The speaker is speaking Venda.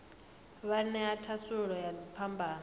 wa ṅea thasululo ya dziphambano